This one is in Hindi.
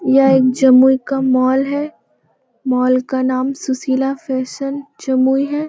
यह एक जमुई का मॉल है मॉल का नाम सुशीला फैशन जमुई है।